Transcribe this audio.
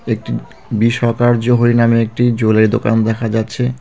একটি বি সরকার জহুরি নামে একটি জুয়েলারি দোকানও দেখা যাচ্ছে.